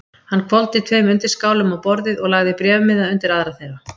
Hann hvolfdi tveim undirskálum á borðið og lagði bréfmiða undir aðra þeirra.